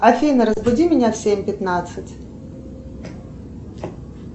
афина разбуди меня в семь пятнадцать